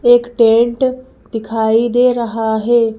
एक टेंट दिखाई दे रहा है।